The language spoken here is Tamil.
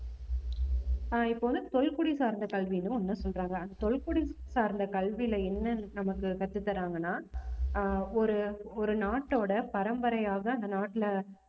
ஆஹ் இப்ப வந்து தொல்குடி சார்ந்த கல்வின்னு ஒண்ணு சொல்றாங்க அந்த தொல்குடி சார்ந்த கல்வியில என்ன நமக்கு கத்து தர்றாங்கன்னா ஆஹ் ஒரு ஒரு நாட்டோட பரம்பரையாக அந்த நாட்டுல